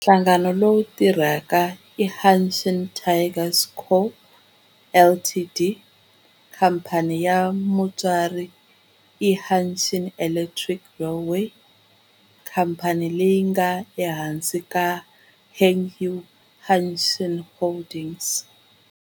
Nhlangano lowu tirhaka i Hanshin Tigers Co., Ltd. Khamphani ya mutswari i Hanshin Electric Railway, khamphani leyi nga ehansi ka Hankyu Hanshin Holdings.